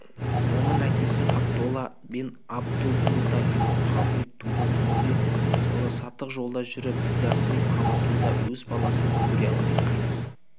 оның әкесі абдолла бен абдул-муталиб мұхаммед туған кезде сауда-саттық жолда жүріп ясриб қаласында өз баласын көре алмай қайтыс